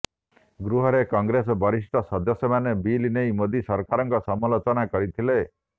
ଗୃହରେ କଂଗ୍ରେସର ବରିଷ୍ଠ ସଦସ୍ୟମାନେ ବିଲ୍ ନେଇ ମୋଦି ସରକାରଙ୍କ ସମାଲୋଚନା କରିଥିଲେ